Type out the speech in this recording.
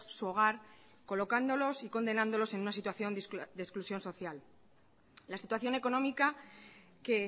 su hogar colocándolos y condenándolos en una situación de exclusión social la situación económica que